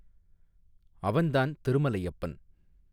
அவன் தான் திருமலையப்பன்.